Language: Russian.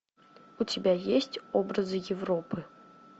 у тебя есть образы европы